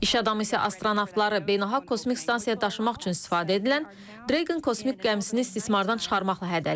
İş adamı isə astronavtları Beynəlxalq Kosmik Stansiyaya daşımaq üçün istifadə edilən Dragon kosmik gəmisini istismardan çıxarmaqla hədələyib.